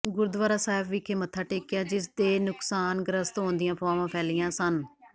ਗੁਰਦੁਆਰਾ ਸਾਹਿਬ ਵਿਖੇ ਮੱਥਾ ਟੇਕਿਆ ਜਿਸ ਦੇ ਨੁਕਸਾਨਗ੍ਰਸਤ ਹੋਣ ਦੀਆਂ ਅਫਵਾਹਾਂ ਫੈਲੀਆਂ ਸਨ